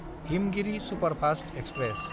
Himgiri superfast express